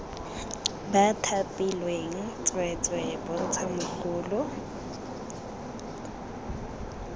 ba thapilweng tsweetswee bontsha mogolo